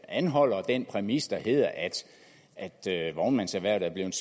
anholder den præmis der hedder at vognmandserhvervet er blevet